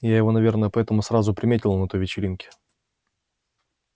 я его наверное поэтому сразу и приметила на той вечеринке